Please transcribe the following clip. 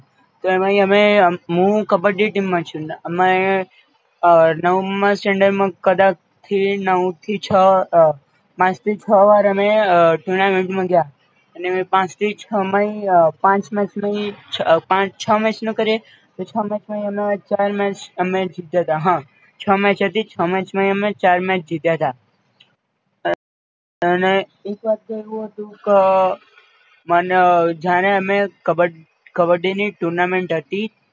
છ match હતી છ match માય અમે ચાર match જીત્યા હતા, અને એક વાર તો એવું હતું ક મને જાણે અમે કબ કબડ્ડીની tournament હતી